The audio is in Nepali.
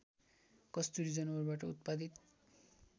कस्तुरी जनावरबाट उत्पादित